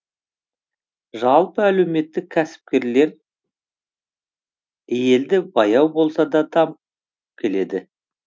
жалпы әлеуметтік кәсіпкерлер елде баяу болса да дамып келеді